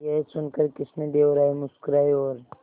यह सुनकर कृष्णदेव राय मुस्कुराए और